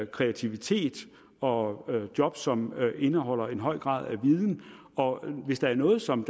kreativitet og job som indeholder en høj grad af viden og hvis der er noget som